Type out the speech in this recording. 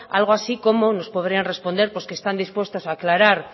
algo así como nos podrían responder pues que están dispuestos aclarar